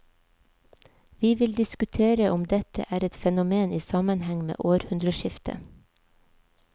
Vi vil diskutere om dette er et fenomen i sammenheng med århundreskiftet.